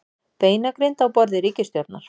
Beinagrind á borði ríkisstjórnar